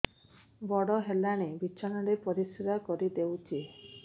ବଡ଼ ହେଲାଣି ବିଛଣା ରେ ପରିସ୍ରା କରିଦେଉଛି